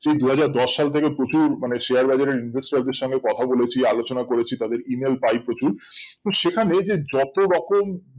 যে দু হাজার দশ সল্ থেকে প্রচুর মানে share বাজার এর কথা বলেছি আলোচনা করেছি তাদের email পাই প্রচুর তো সেখানে যে যতরকম